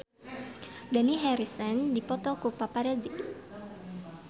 Dani Harrison dipoto ku paparazi